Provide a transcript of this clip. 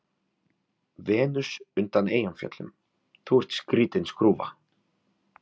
Venus undan Eyjafjöllum:- Þú ert skrýtin skrúfa.